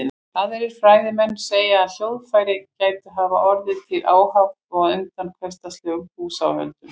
Aðrir fræðimenn segja að hljóðfæri gætu hafa orðið til óháð og á undan hversdagslegum búsáhöldum.